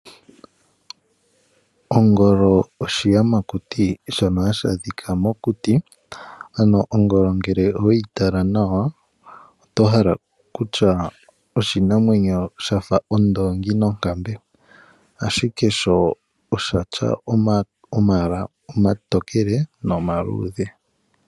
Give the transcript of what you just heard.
Ongolo oshiyamakuti shono hashi adhika mokuti ano ngele ongolo oweyi tala nawa, oto hala kutya oshinamwenyo sha fa ondoongi nonkembe ashike sho osha tya omayala omatokele nomaluudhe.